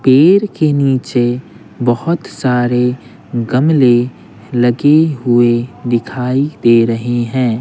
पेड़ के नीचे बहुत सारे गमले लगे हुए दिखाई दे रहे हैं।